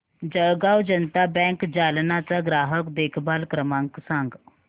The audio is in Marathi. जळगाव जनता बँक जालना चा ग्राहक देखभाल क्रमांक सांग